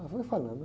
Ela foi falando.